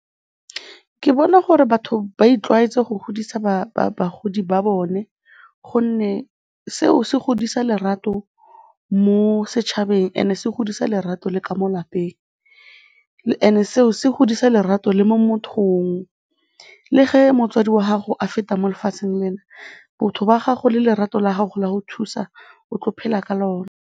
Ke bona gore batho ba itlwaetse go godisa bagodi ba bone gonne seo se godisa lerato mo setšhabeng and-e se godisa lerato le ka mo lapeng and-e seo se godisa lerato le mo mothong, le ge motsadi wa gago a feta mo lefatsheng lena, botho wa gago le lerato la gago la go thusa, o tlo phela ka lona.